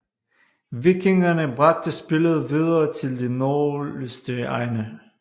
Vikingerne bragte spillet videre til de nordligste egne